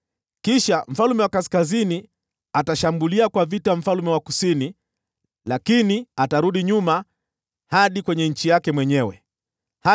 Kisha mfalme wa Kaskazini atashambulia nchi ya mfalme wa Kusini, lakini atarudi nyuma hadi kwenye nchi yake.